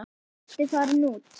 Diddi farinn út.